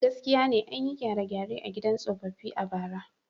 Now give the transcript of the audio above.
Gaskiya ne, an yi gyare-gyare a gidan tsofaffi a bara.